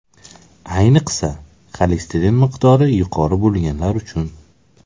Ayniqsa, xolesterin miqdori yuqori bo‘lganlar uchun.